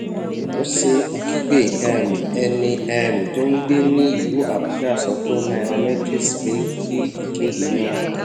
ose akhigbe um ẹni um tó ń gbé ní ìlú abuja sọ fún nairametrics pé kí ìkéde náà